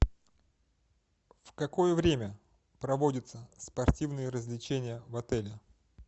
в какое время проводятся спортивные развлечения в отеле